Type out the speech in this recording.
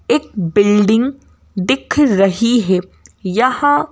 एक बिल्डिंग दिख रही है यहां--